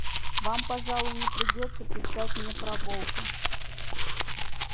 вам пожалуй не придётся писать мне про волка